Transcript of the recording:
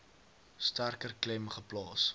sterker klem geplaas